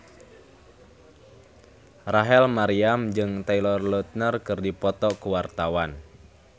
Rachel Maryam jeung Taylor Lautner keur dipoto ku wartawan